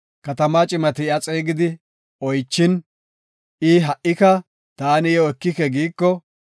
Katamaa cimati iya xeegidi oychin, I ha77ika, “Taani iyo ekike” giiko,